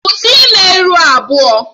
Kwụsị ime ihu abụọ!